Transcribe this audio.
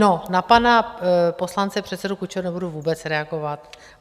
No, na pana poslance předsedu Kučeru nebudu vůbec reagovat.